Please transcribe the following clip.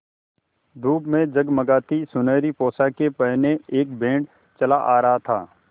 धूप में जगमगाती सुनहरी पोशाकें पहने एक बैंड चला आ रहा था